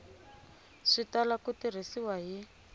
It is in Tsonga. swi tala ku tirhisiwa hi